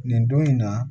Nin don in na